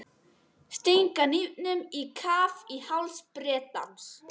Stinga hnífnum á kaf í háls Bretans.